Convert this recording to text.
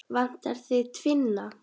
Vantar þig tvinna?